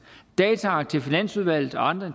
dataark til finansudvalget og andre